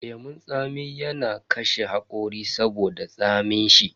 Lemun tsami yana kashe hakori saboda tsamin shi.